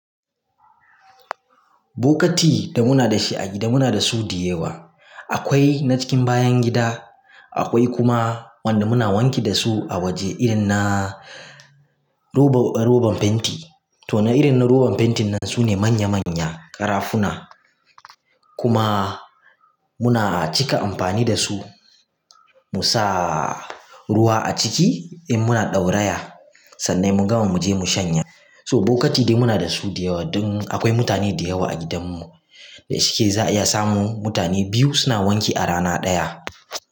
Bokati da muna da shi a gida muna da su da yawa. Akwai na cikin bayan gida, akwai kuma wanda muna wanki da su a waje irin na roban fenti. To na irin na roban fentin nan su ne manya manya karafuna. Kuma muna cika amfani da su. Musa ruwa a ciki in muna ɗauraya, sannan immun gama mu je mu shanya. To bokati dai muna da su da yawa. Don akwai mutane da yawa a gidanmu. Da shike za a iya samu mutane biyu suna wanki a rana ɗaya.